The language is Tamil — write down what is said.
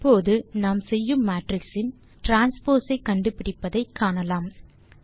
இப்போது நாம் செய்யும் மேட்ரிக்ஸ் இன் டிரான்ஸ்போஸ் ஐ கண்டுபிடிப்பதை காணலாம்